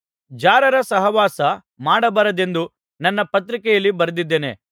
ಜಾರರ ಸಹವಾಸ ಮಾಡಬಾರದೆಂದು ನನ್ನ ಪತ್ರಿಕೆಯಲ್ಲಿ ಬರೆದಿದ್ದೇನೆ